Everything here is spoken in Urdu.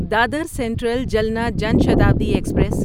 Dadar Central Jalna Jan Shatabdi express